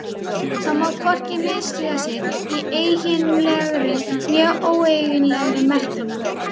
Það má hvorki misstíga sig í eiginlegri né óeiginlegri merkingu.